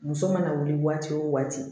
Muso mana wuli waati wo waati